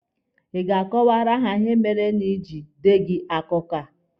Ị ga-akọwaara ha ihe mere iji Ị deghị akụkọ a?